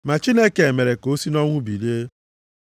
Ma Chineke mere ka o si nʼọnwụ bilie.